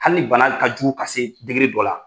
Hali ni bana ka jugu ka se dɔ la